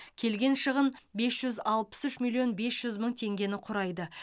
келген шығын бес жүз алпыс үш миллион бес жүз мың теңгені құрайды